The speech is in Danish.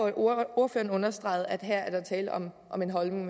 at ordføreren understregede at her er der tale om om en holdning